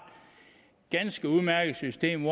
ganske udmærket system